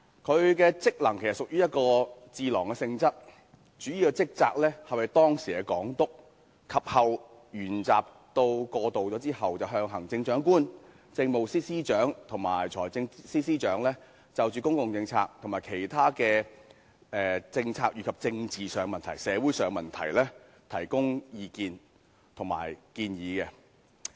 它的職能其實屬於智囊性質，主要職責是為當時的港督，而於回歸後，則為行政長官、政務司司長和財政司司長，就公共政策和其他政策及政治和社會問題，提供意見及建議。